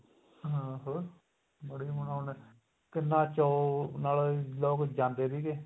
ਹਾਂ ਹੋਰ ਬੜੀ ਰੋਣਕ ਕਿੰਨਾ ਚੌਅ ਨਾਲ ਲੋਕ ਜਾਂਦੇ ਸੀਗੇ